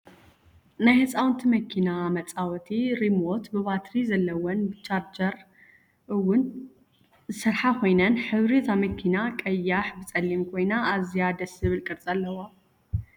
ናይ ህፃውንቲ መኪና መፃወቲ ሪሞት ብባትሪ ዘለወን ብቻርጅ እውን ዝሰርሓ ኮይነን ሕብሪ እታ መኪና ቀያሕ ብፀሊም ኮይና ኣዝያ ደስ ዝብል ቅርፂ ዘለዋ እያ ።